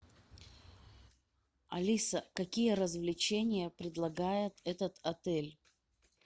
алиса какие развлечения предлагает этот отель